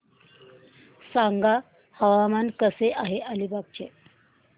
सांगा हवामान कसे आहे अलिबाग चे